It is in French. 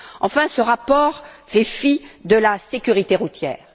Enfin, ce rapport fait fi de la sécurité routière.